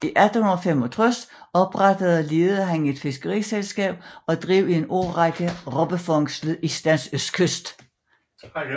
I 1865 oprettede og ledede han et fiskeriselskab og drev i en årrække robbefangst ved Islands østkyst